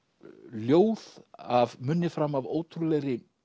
ljóð af munni fram af ótrúlegri